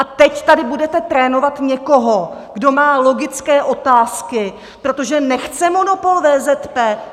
A teď tady budete trénovat někoho, kdo má logické otázky, protože nechce monopol VZP?